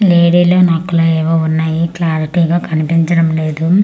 లేడీలో నక్కలో ఏవో ఉన్నాయి క్లారిటీ గా కనిపించడం లేదు .